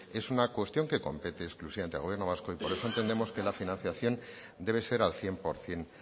es una cuestión que compete exclusivamente al gobierno vasco por eso entendemos que la financiación debe ser al cien por ciento